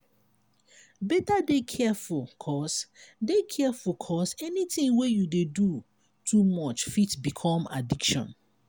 beta dey careful cos dey careful cos anything wey you dey do too much fit become addiction.